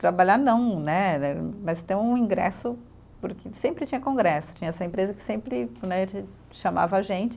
Trabalhar não né eh, mas ter um ingresso, porque sempre tinha congresso, tinha essa empresa que sempre né de, chamava a gente.